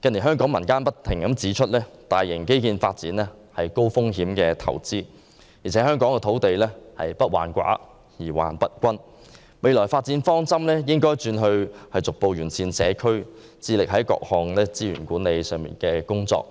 近年香港民間不斷指出，大型基建發展是高風險投資，香港土地不患寡而患不均，未來發展方針應轉為逐步完善社區，致力於各項資源管理工作，